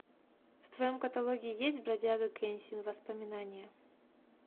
в твоем каталоге есть бродяга кэнсин воспоминания